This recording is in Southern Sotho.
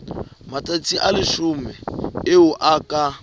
matsatsi a leshome eo ka